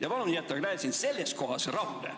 Ja palun jäta Gräzin selles kohas rahule.